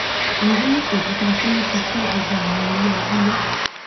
irú òkúta tí wọn fi kọ gbogbo àwọn ilé abúlé